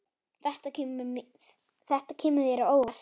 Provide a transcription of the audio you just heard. Þetta kemur þér á óvart.